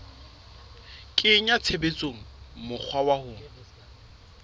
kenya tshebetsong mokgwa wa ho